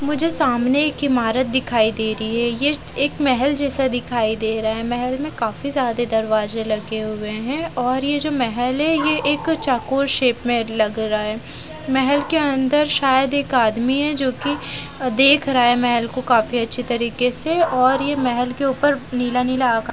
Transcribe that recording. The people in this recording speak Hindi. मुझे सामने एक इमारत दिखाई दे रही है यह एक महल जैसा दिखाई दे रहा है महल में काफी ज्यादा दरवाजे लगे हुए हैं और यह जो महल है यह एक चौकोर शेप में लग रहा है महल के अंदर शायद एक आदमी है जो कि देख रहा है महल को काफी अच्छी तरीके से और यह महल के ऊपर नीला नीला आका --